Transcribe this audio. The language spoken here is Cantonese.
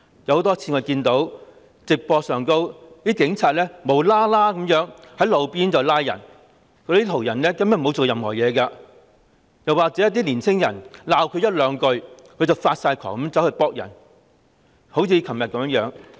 我們多次從直播中看到警察無故在路邊拘捕沒有做過任何事的途人，又或是當他們被年青人指罵一句半句，便發狂地用警棍打人。